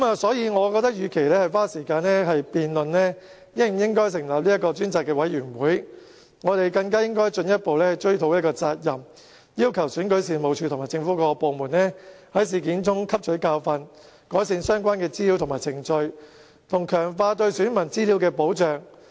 所以，我覺得與其花時間辯論是否要成立專責委員會，我們更加應該追討責任，要求選舉事務處及政府各部門在事件中汲取教訓，改善處理資料的相關程序，以及強化對選民資料的保障。